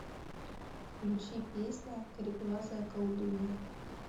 включи песня кареглазая колдунья